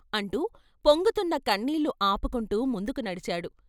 అంటూ పొంగుతున్న కన్నీళ్ళు ఆపుకుంటూ ముందుకు నడిచాడు.